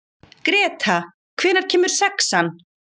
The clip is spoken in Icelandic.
Greta, hvenær kemur sexan?